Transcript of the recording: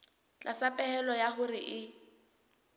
tlasa pehelo ya hore e